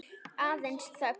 Aðeins þögn.